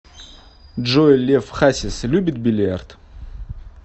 джой лев хасис любит бильярд